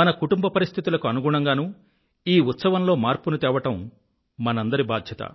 మన కుటుంబ పరిస్థితులకు అనుగుణంగానూ ఈ ఉత్సవంలో మార్పును తేవడం మనందరి బాధ్యత